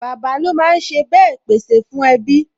Bàbá lo máa ń sá bàa pè sè fún ẹbí